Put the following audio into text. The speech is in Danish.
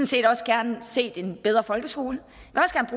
set også gerne set en bedre folkeskole